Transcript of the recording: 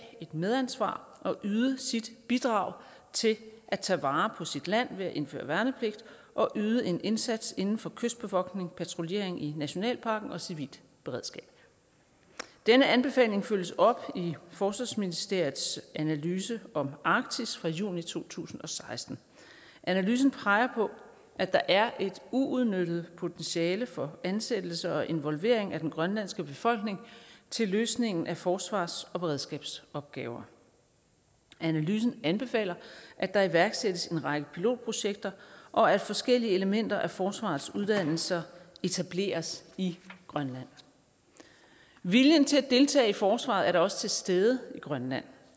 et medansvar og yde sit bidrag til at tage vare på sit land ved at indføre værnepligt og yde en indsats inden for kystbevogtning patruljering i nationalparken og civilt beredskab den anbefaling følges op i forsvarsministeriets analyse om arktis fra juni to tusind og seksten analysen peger på at der er et uudnyttet potentiale for ansættelse og involvering af den grønlandske befolkning til løsning af forsvars og beredskabsopgaver analysen anbefaler at der iværksættes en række pilotprojekter og at forskellige elementer af forsvarets uddannelser etableres i grønland viljen til at deltage i forsvaret er da også til stede i grønland